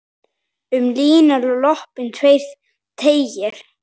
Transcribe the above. Um línuna lopann svo teygir.